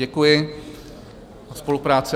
Děkuji za spolupráci.